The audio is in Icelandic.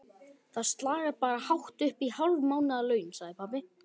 Það slagar bara hátt uppí hálf mánaðarlaun, sagði pabbi.